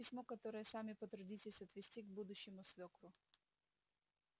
вот письмо которое сами потрудитесь отвезти к будущему свёкру